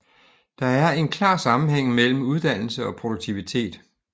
Der er en klar sammenhæng mellem uddannelse og produktivitet